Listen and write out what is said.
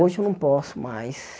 Hoje eu não posso mais.